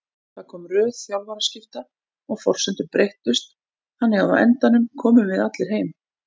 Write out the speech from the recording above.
Það kom röð þjálfaraskipta og forsendur breyttust þannig að á endanum komum við allir heim.